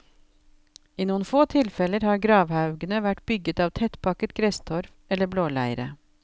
I noen få tilfeller har gravhaugene vært bygget av tettpakket gresstorv eller blåleire.